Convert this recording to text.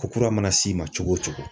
Ko kura mana s'i ma cogo o cogo